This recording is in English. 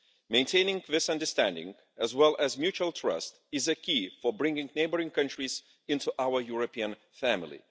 Maintaining this understanding as well as mutual trust is a key for bringing neighbouring countries into our European family.